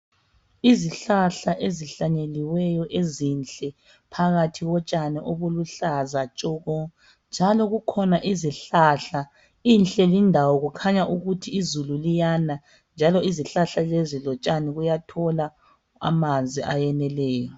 Izihlahla ezihlanyeliweyo, ezinhle, phakathi kotshani obuluhlaza tshoko! Njalo kukhona izihlahla. lnhle lindawo! Kukhanya ukuthi izulu liyana, njalo . Izihlahla lezi lotshani, kuyathola amanzi ayeneleyo.